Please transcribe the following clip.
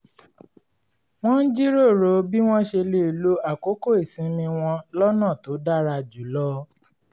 wọ́n ń jíròrò bí wọ́n ṣe lè lo àkókò ìsinmi wọn lọ́nà tó dára jù lọ